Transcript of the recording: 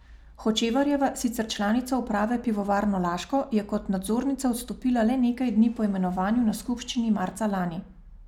Hočevarjeva, sicer članica uprave Pivovarne Laško, je kot nadzornica odstopila le nekaj dni po imenovanju na skupščini marca lani.